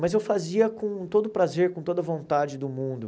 Mas eu fazia com todo prazer, com toda vontade do mundo.